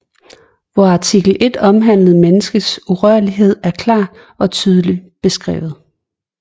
Hvor artikel 1 omhandlende menneskets urørlighed er klart og tydeligt beskrevet